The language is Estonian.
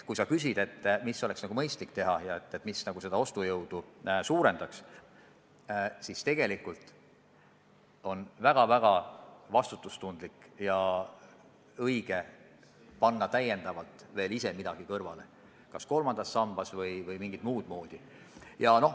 Kui sa küsid, mida oleks mõistlik teha ja mis inimeste ostujõudu suurendaks, siis tegelikult on väga-väga vastutustundlik ja õige ise täiendavalt veel midagi kõrvale panna, kas kolmandas sambas või mingit muud moodi.